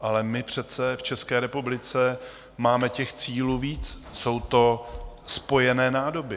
ale my přece v České republice máme těch cílů víc, jsou to spojené nádoby.